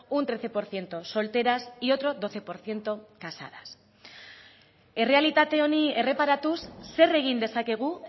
un trece por ciento solteras y otro doce por ciento casadas errealitate honi erreparatuz zer egin dezakegu